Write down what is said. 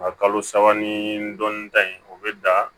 A kalo saba ni dɔɔni ta in o bɛ dan